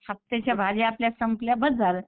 हफ्त्याच्या भाज्या आपल्या संपल्या बस झालं.